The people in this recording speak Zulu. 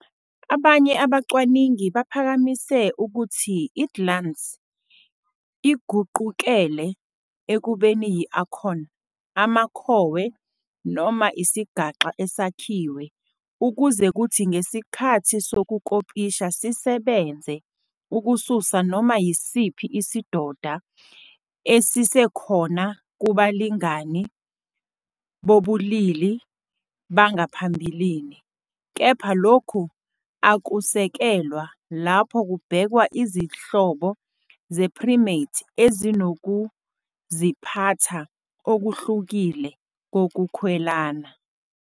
Abanye abacwaningi baphakamise ukuthi i-glans iguqukele ekubeni yi-acorn, amakhowe noma isigaxa esakhiwe ukuze kuthi ngesikhathi sokukopisha sisebenze ukususa noma yisiphi isidoda esisekhona kubalingani bobulili bangaphambilini, kepha lokhu akusekelwa lapho kubhekwa izihlobo ze-primate ezinokuziphatha okuhlukile kokukhwelana.